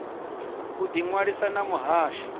u ḓi ṅwalisa na muhasho